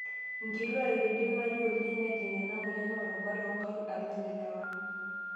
Nkituak eidimayu oleng' nejing' ena moyian rubat oonkaik alang' ilewa.